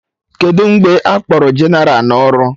Kedụ mgbe akpọrọ jeneral na ọrụ?